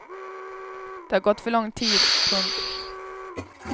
Det har gått för lång tid. punkt